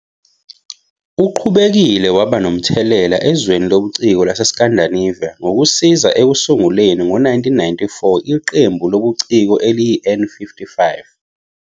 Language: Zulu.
Uqhubekile waba nomthelela ezweni lobuciko laseScandinavia ngokusiza ekusunguleni, ngo-1994, iqembu lobuciko eliyi-N55.